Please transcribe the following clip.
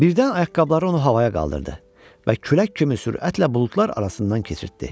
Birdən ayaqqabıları onu havaya qaldırdı və külək kimi sürətlə buludlar arasından keçirtdi.